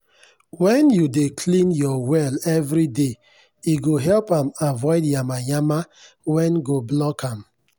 wen u dey clean ur well everyday e go help am avoid yamayama wen go block am.